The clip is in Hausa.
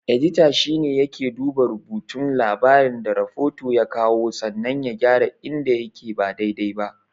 Edita shine yake duba rubutun labarin da rafota ya kawo sannan ya gyara inda yake ba dai-dai ba.